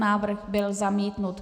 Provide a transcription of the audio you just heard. Návrh byl zamítnut.